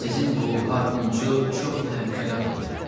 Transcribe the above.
Sizin bu harpunçu çox təhlükəli adamdır.